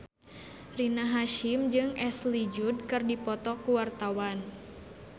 Rina Hasyim jeung Ashley Judd keur dipoto ku wartawan